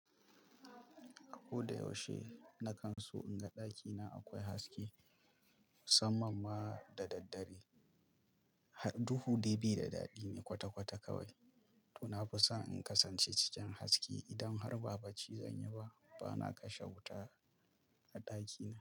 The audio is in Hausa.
A ko da yaushe na kan so in ga ɗakina akwai haske, musamman ma da daddare. Duhu dai bai da daɗi ne kwata-kwata kawai. To na fi so in kasance cikin haske idan har ba ba ci zanyi ba, bana kashe wuta a ɗakina.